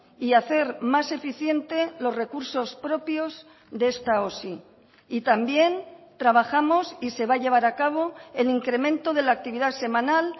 y hacer más eficiente los recursos propios de esta osi y también trabajamos y se va a llevar a cabo el incremento de la actividad semanal